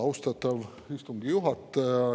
Austatav istungi juhataja!